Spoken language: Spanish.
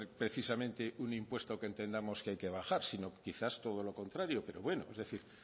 precisamente un impuesto que entendamos que hay que bajar sino quizás todo lo contrario pero bueno es decir